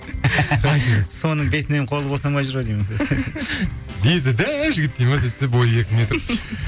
соның бетінен қолы босамай жүр ау деймін беті дәу жігіт дейді ме сөйтсе бойы екі метр